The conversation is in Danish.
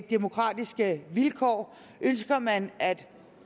demokratiske vilkår ønsker man at